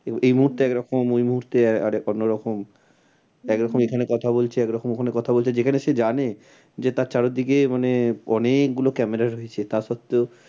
এই মুহূর্তে এক রকম ওই মুহূর্তে আরেক অন্য রকম এক রকম এখানে কথা বলছে এক রকম ওখানে কথা বলছে যেখানে সে জানে যে তার চারিদিকে মানে অনেক গুলো camera রয়েছে। তার সত্ত্বেও